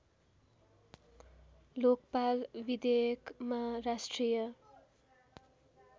लोकपाल विधेयकमा राष्ट्रिय